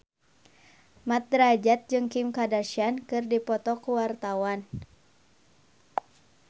Mat Drajat jeung Kim Kardashian keur dipoto ku wartawan